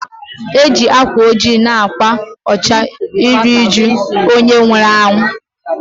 E ji akwa ojii na akwa ọcha eri ụjụ onye nwụrụ anwụ